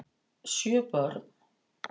Sjö börn